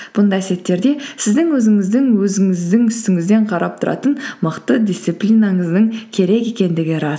бұндай сәттерде сіздің өзіңіздің өзіңіздің үстіңізден қарап тұратын мықты дисциплинаңыздың керек екендігі рас